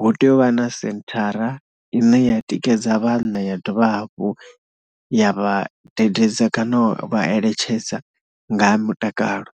hu tea u vha na senthara ine ya tikedza vhanna ya dovha hafhu ya vha dededza kana u vha eletshedza nga ha mutakalo.